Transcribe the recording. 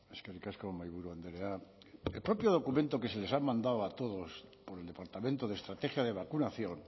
eskerrik asko mahaiburu andrea el propio documento que se les ha mandado a todos por el departamento de estrategia de vacunación